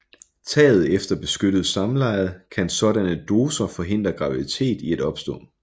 Taget efter ubeskyttet samleje kan sådanne højere doser forhindre graviditet i at opstå